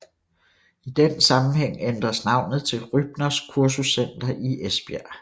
I den sammenhæng ændres navnet til Rybners Kursuscenter i Esbjerg